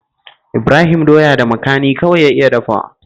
Ibrahim doya da makani kawai ya iya dafawa